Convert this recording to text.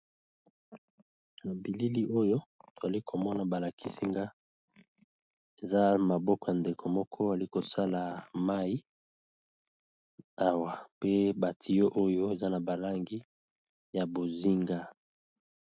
Na bilili oyo toali komona ba lakisi nga eza maboko ya ndeko moko ali kosala mayi awa, pe ba tuyau oyo eza na ba langi ya bozinga.